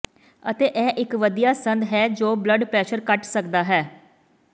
ਅਤੇ ਇਹ ਇੱਕ ਵਧੀਆ ਸੰਦ ਹੈ ਜੋ ਬਲੱਡ ਪ੍ਰੈਸ਼ਰ ਘੱਟ ਸਕਦਾ ਹੈ